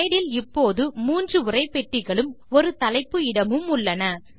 slide இல் இப்போது மூன்று உரைப்பெட்டிகளும் ஒரு தலைப்பு இடமும் உள்ளன